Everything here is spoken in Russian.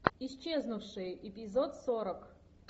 исчезнувшие эпизод сорок